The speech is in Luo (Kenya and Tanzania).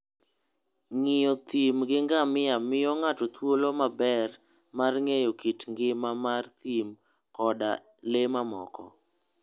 Ng'iyo thim gi ngamia miyo ng'ato thuolo maber mar ng'eyo kit ngima mar thim koda le mamoko.